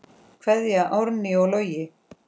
Kveðja, Árný og Logi.